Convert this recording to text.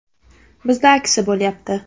Bizda aksi bo‘lyapti.